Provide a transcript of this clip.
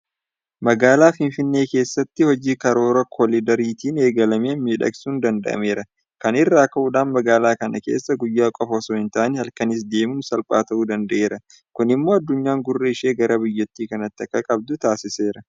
Magaalaa Finfinnee keessatti hojii karoora koliidariitiin eegalameen miidhagsuun danda'ameera. Kana irraa ka'uudhaan magaalaa kana keessa guyyaa qofa osoo hin taane halkanis deemuun salphaa ta'uu danda'eera. Kun immoo addunyaan gurra ishee gara biyya kanaatti akka qabdu taasiseera.